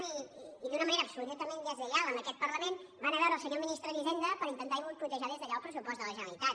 i d’una manera absolutament deslleial amb aquest parlament van a veure el senyor ministre d’hisenda per intentar boicotejar des d’allà el pressupost de la generalitat